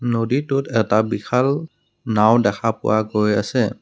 নদীটোত এটা বিশাল নাওঁ দেখা পোৱা গৈ আছে।